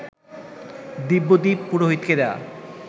দিব্যদীপ পুরোহিতকে দেয়া